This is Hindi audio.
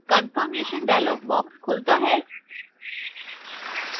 confirmation dialog box खुलता है